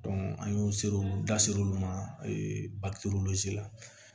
an y'o ser'olu da ser'olu ma bakiteriw la